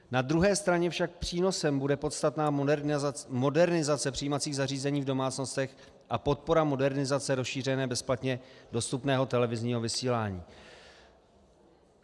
Na druhé straně však přínosem bude podstatná modernizace přijímacích zařízení v domácnostech a podpora modernizace rozšíření bezplatně dostupného televizního vysílání.